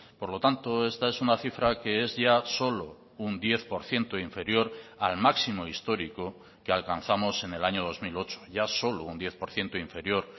por lo tanto esta es una cifra que es ya solo un diez por ciento inferior al máximo histórico que alcanzamos en el año dos mil ocho ya solo un diez por ciento inferior